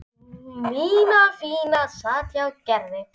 Nína fína sat hjá Gerði.